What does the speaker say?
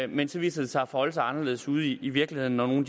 men så viser det sig at forholde sig anderledes ude i virkeligheden når nogle